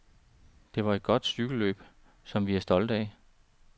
Det var et godt cykelløb, som vi er stolte af.